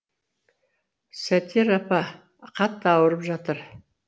сетер апа қатты ауырып жатыр